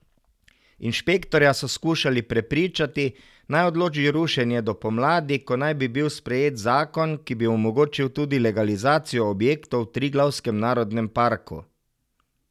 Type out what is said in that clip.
Inšpektorja so skušali prepričati, naj odloži rušenje do pomladi, ko naj bi bil sprejet zakon, ki bi omogočil tudi legalizacijo objektov v Triglavskem narodnem parku.